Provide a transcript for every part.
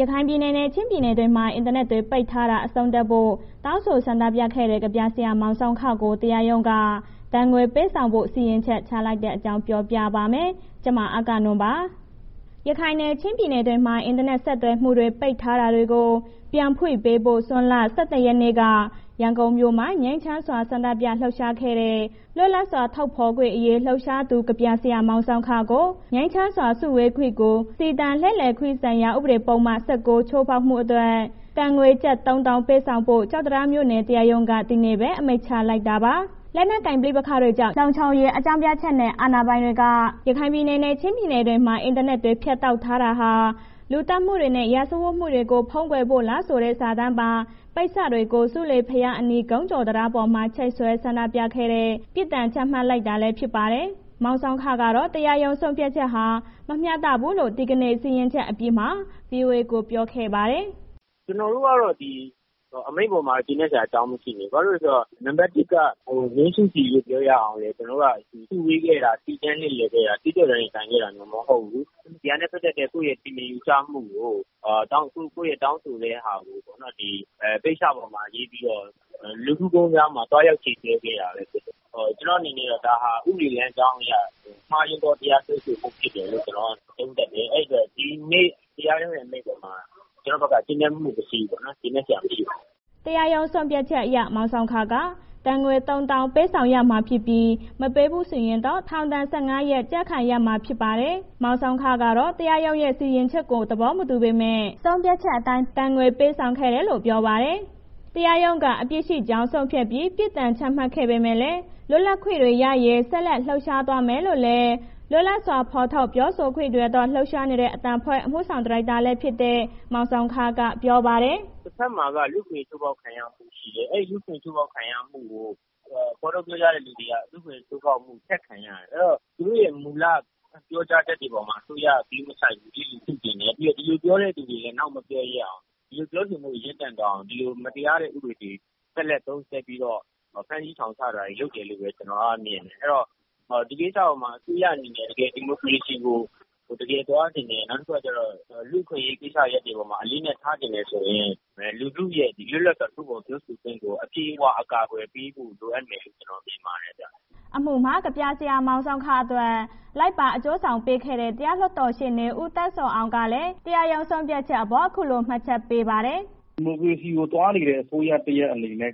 ရခိုင်ပြည်နယ်နဲ့ ချင်းပြည်နယ်တွေမှာ အင်တာနက်တွေ ပိတ်ထားတာ အဆုံးသတ်ဖို့ တောင်းဆိုဆန္ဒပြခဲ့တဲ့ ကဗျာဆရာမောင်ဆောင်းခကို တရားရုံးက ဒဏ်ငွေ ပေးဆောင်ဖို့ စီရင်ချက်ချလိုက်တဲ့အကြောင်းကို ဗွီအိုအေမြန်မာပိုင်းသတင်းထောက် မအဂ္ဂနွန်က ပြောပြပါမယ်။ ရခိုင်နဲ့ ချင်းပြည်နယ်တွေမှာ အင်တာနက် ဆက်သွယ်မှုတွေ ပိတ်ထားတာတွေကို ပြန်ဖွင့်ပေးဖို့ ဇွန်လ ၂၁ ရက်နေ့က ရန်ကုန်မြို့မှာ ငြိမ်းချမ်းစွာ ဆန္ဒပြလှုပ်ရှားခဲ့တဲ့ လွတ်လပ်စွာထုတ်ဖော်ခွင့်အရေး လှုပ်ရှားသူ ကဗျာဆရာမောင်ဆောင်းခကို ငြိမ်းချမ်းစွာ စုဝေးခွင့်နဲ့ စီတန်းလှည့်လည်ခွင့်ဆိုင်ရာ ဥပဒေပုဒ်မ ၁၉ ချိုးဖောက်မှုအတွက် ငွေဒဏ် ကျပ် ၃၀,၀၀၀ ပေးဆောင်ဖို့ ကျောက်တံတားမြို့နယ် တရားရုံးက ဒီနေ့ပဲ အမိန့်ချလိုက်တာပါ။ လက်နက်ကိုင် ပဋိပက္ခတွေကြောင့် လုံခြုံရေးအကြောင်းပြချက်နဲ့ အာဏာပိုင်တွေက ရခိုင်နဲ့ ချင်းပြည်နယ်တွေမှာ အင်တာနက်တွေ ဖြတ်တောက်ထားတာဟာ လူသတ်မှုတွေနဲ့ စစ်ရာဇဝတ်မှုတွေကို ဖုံးကွယ်ဖို့လားဆိုတဲ့ စာတမ်းပါ ပိတ်စတွေကို ဆူးလေဘုရားအနီး ဂုံးကျော်တံတားပေါ်မှာ ချိတ်ဆွဲ ဆန္ဒပြခဲ့တဲ့ လှုပ်ရှားမှုအတွက် ပြစ်ဒဏ်ချမှတ်လိုက်တာလည်း ဖြစ်ပါတယ်။ မောင်ဆောင်းခကတော့ တရားရုံး ဆုံးဖြတ်ချက်ဟာ မမျှတဘူးလို့ ဒီကနေ့ စီရင်ချက်အပြီးမှာပဲ ဗွီအိုအေကို ပြောဆိုခဲ့ပါတယ်။ “ကျနော်တို့က ဒီအမိန့်အပေါ်မှာ ကျေနပ်စရာအကြောင်း မရှိဘူး၊ ဘာဖြစ်လဲဆိုတော့ နံမှတ် ၁ က ငြိမ်းစုစီပြောရအောင်လည်း ကျနော်တို့က စုဝေးခဲ့တာ၊ စီတန်းလှည့်လည်ခဲ့တာ၊ အကျင့်ပျက် ရင်ဆိုင်ခဲ့တာ မဟုတ်ဘူး၊ ဒီဟာနဲ့ ပတ်သက်တဲ့ သူ့ရဲ့ထင်မြင် ယူဆမှု၊ ကိုယ့်ရဲ့ တောင်းဆိုတဲ့ ဟာကိုပေါ့နော်... ပိတ်စပေါ်မှာ ရေးပြီးတော့ လူကူးဂုံတံတားမှာ သွားရောက်ချိတ်ဆွဲခဲ့တာပဲဖြစ်တယ်။ ကျနော်အနေနဲ့ကတော့ ဒါဟာ ဥပဒေလမ်းကြောင်းအရ မှားယွင်းသော တရားစွဲဆိုမှုဖြစ်တယ်လို့ ကျနော်က သုံးသပ်တယ်။ အဲ့ဒီတော့ ဒီနေ့တရားရုံးအမိန့်အပေါ်မှာ ကျနော်ဘက်က ကျေနပ်မှု မရှိဘူးပေါ့နော်။ ကျေနပ်စရာ မရှိပါဘူး။” တရားရုံးဆုံးဖြတ်ချက်အရ မောင်ဆောင်းခက ဒဏ်ငွေ ၃၀,၀၀၀ ပေးဆောင်ရမှာဖြစ်ပြီး မပေးဘူးဆိုရင်တော့ ထောင်ဒဏ် ၁၅ ရက် ကျခံရမှာ ဖြစ်ပါတယ်။ မောင်ဆောင်းခကတော့ တရားရုံးစီရင်ချက်ကို သဘောမတူပေမဲ့ ဆုံးဖြတ်ချက်အတိုင်း ဒဏ်ငွေပေးဆောင်ခဲ့တယ်လို့ ပြောပါတယ်။ တရားရုံးက အပြစ်ရှိကြောင်းဆုံးဖြတ်ပြီး ပြစ်ဒဏ်ချမှတ်ခဲ့ပေမဲ့လည်း လွတ်လပ်ခွင့်တွေရရေး ဆက်လက် လှုပ်ရှားသွားမယ်လို့လည်း လွတ်လပ်စွာထုတ်ဖော်ပြောဆိုခွင့်တွေအတွက် လှုပ်ရှားနေတဲ့ အသံအဖွဲ့ အမှုဆောင်ဒါရိုက်တာလည်းဖြစ်တဲ့ မောင်ဆောင်းခက ပြောပါတယ်။ “တဘက်မှာက လူ့အခွင့်အရေးချိုးဖောက်ခံရမှု ရှိတယ်။ အဲ့လူ့အခွင့်အရေး ချိုးဖောက်ခံရမှုကို ဖော်ထုတ်ပြောကြားတဲ့ လူတွေက လူ့အခွင့်အရေးချိုးဖောက်မှု ဆက်ခံရတယ်။ အဲ့ဒီတော့ သူတို့ရဲ့ မူလပြောကြားချက်တွေပေါ်မှာ အစိုးရက ဂရုမစိုက်ဘူး၊ လျစ်လျုရှုချင်တယ်။ ပြီးတော့ ဒီလိုပြောတဲ့ လူတွေကို နောက်မပြောရဲအောင်၊ ဒီလိုပြောဆိုမှုတွေ ရပ်တန့်သွားအောင်၊ ဒီလို မတရားတဲ့ ဥပဒေတွေကို လက်ဆက်သုံးစွဲပြီးတော့ ဖမ်းဆီးထောင်ချတာတွေ လုပ်တယ်လို့ပဲ ကျနော်က မြင်တယ်။ အဲဒီတော့ ဒီကိစ္စအပေါ်မှာ အစိုးရအနေနဲ့ တကယ်ဒီမိုကရေစီကို တကယ်သွားချင်တယ်၊ နောက်တခုက လူ့အခွင့်အရေးကိစ္စရပ်တွေပေါ်မှာ အလေးအနက်ထားချင်တယ်ဆိုရင် လူထုရဲ့ လွတ်လပ်စွာ ထုတ်ဖော်ပြောဆိုခွင့်ကို အပြည့်အ၀ ကာကွယ်ပေးဖို့လိုအပ်မယ်လို့ ကျနော်မြင်ပါတယ်။” အမှုမှာ ကဗျာဆရာမောင်ဆောင်းခအတွက် လိုက်ပါအကျိုးဆောင်ပေးခဲ့တဲ့ တရားလွှတ်တော်ရှေ့နေ ဦးသန်းဇော်အောင်ကလည်း ပြောပါတယ်။ “ဒီမိုကရေစီကို သွားနေတဲ့ အစိုးရတစ်ရပ်အနေနဲ့ နို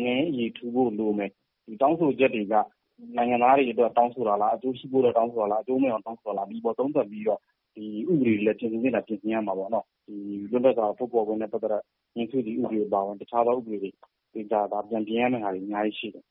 င်ငံရေး အရေထူဖို့လိုမယ်။ တောင်းဆိုချက်တွေက နိုင်ငံသားတွေအတွက် တောင်းဆိုတာလား၊ အကျိုးရှိဖို့အတွက် တောင်းဆိုတာလား၊ အကျိုးမဲ့အောင် တောင်းဆိုတာလား။ ဒီအပေါ်သုံးသပ်ပြီးတော့ ဒီဥပဒေတွေကို ပြင်ဆင်သင့်ရင် ပြင်ဆင်ရမှာပေါ့။ ဒီလွတ်လပ်စွာ ထုတ်ဖော်ခွင့်နဲ့ ပတ်သက်တာ ငြိမ်းစုစီဥပဒေအပါအဝင် တခြားသော ဥပဒေတွေ ပြန်ပြင်ရမယ့်ဟာတွေ အများကြီးရှိတယ်။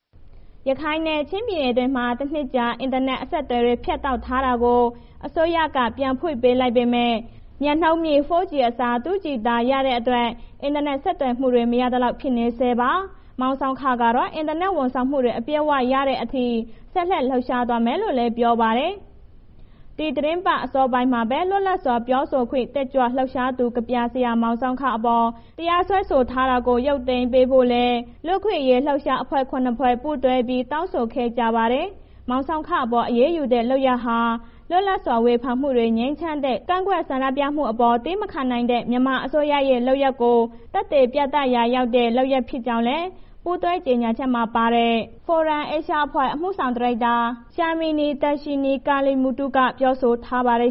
” ရခိုင်နဲ့ ချင်းပြည်နယ်တွေမှာ တနှစ်ကျော်ကြာ အင်တာနက် အဆက်အသွယ်တွေ ဖြတ်တောက်ထားတာတွေကို အစိုးရက ပြန်ဖွင့်ပေးလိုက်ပေမဲ့ မြန်နှုန်းမြင့် 4G အစား၊ 2G သာ ရတဲ့အတွက် အင်တာနက် ဆက်သွယ်မှုတွေ မရသလောက် ဖြစ်နေဆဲပါ။ မောင်ဆောင်းခကတော့ အင်တာနက် ဝန်ဆောင်မှုတွေ အပြည့်အဝရတဲ့ အထိ ဆက်လက် လှုပ်ရှားသွားမယ်လို့လည်း ပြောပါတယ်။ ဒီသီတင်းပတ် အစောပိုင်းမှာပဲ လွတ်လပ်စွာ ပြောဆိုခွင့် တက်ကြွလှုပ်ရှားသူ ကဗျာဆရာ မောင်ဆောင်းခအပေါ် တရားစွဲဆို ထားတာကို ရုပ်သိမ်းပေးဖို့လည်း လူ့အခွင့်အရေး လှုပ်ရှားမှုအဖွဲ့ ၇ ဖွဲ့ ပူးတွဲပြီး တောင်းဆိုခဲ့ကြပါတယ်။ မောင်ဆောင်းခအပေါ် အရေးယူတဲ့ လုပ်ရပ်ဟာ လွတ်လပ်စွာဝေဖန်မှုတွေ ငြိမ်းချမ်းတဲ့ ကန့်ကွက်ဆန္ဒပြမှုတွေအပေါ် သည်းမခံနိုင်တဲ့ မြန်မာအစိုးရရဲ့ လုပ်ရပ်ကို သက်သေပြသရာရောက်တဲ့ လုပ်ရပ်ဖြစ်ကြောင်းလည်း ပူးတွဲကြေညာချက်မှာ ပါဝင်တဲ့ FORUM-ASIA အဖွဲ့ အမှုဆောင်ဒါရိုက်တာ Shamini Darshni Kaliemuthu ကပြောဆိုထားပါတယ်